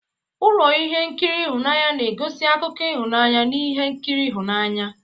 Ụlọ ihe nkiri ịhụnanya na-egosi akụkọ ịhụnanya na ihe nkiri ịhụnanya.